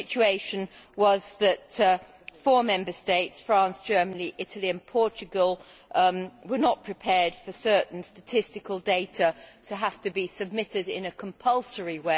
The situation was that four Member States France, Germany, Italy and Portugal were not prepared for certain statistical data to have to be submitted compulsorily.